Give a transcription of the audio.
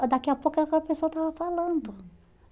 Daqui a pouco aquela pessoa estava falando.